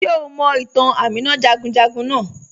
Ṣe o mọ̀ itàn Àmìnà jagunjagun naà?